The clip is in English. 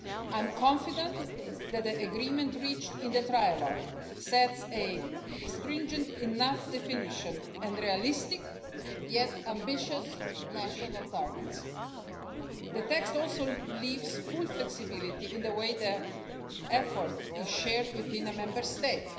I'm confident that the agreement reached in the trilogue sets a stringent enough definition and realistic, yet ambitious, national targets. The text also leaves full flexibility in the way the effort is shared within a Member State,